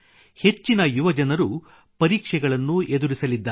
ಹೆಚ್ಚಿನ ಯುವಜನರು ಪರೀಕ್ಷೆಗಳನ್ನು ಎದುರಿಸಲಿದ್ದಾರೆ